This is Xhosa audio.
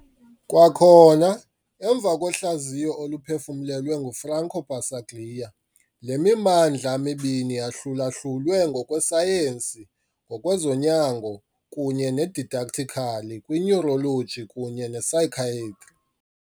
Kwakhona emva kohlaziyo oluphefumlelwe nguFranco Basaglia, le mimandla mibini yahlulahlulwe, ngokwesayensi, ngokwezonyango kunye ne-didactically, kwi-neurology kunye ne-psychiatry .